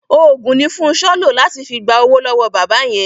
Òògùn ni Fúnṣọ́ lò láti fi gba owó lọ́wọ́ bàbá yẹn.